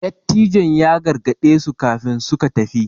Dattijon ya gargade su kafin suka tafi